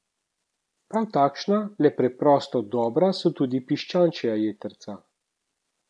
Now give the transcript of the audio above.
Prav takšna, le preprosto dobra, so tudi piščančja jetrca.